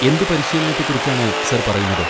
എന്ത് പരിശീലനത്തെ കുറിച്ചാണ് സാർ പറയുന്നത്?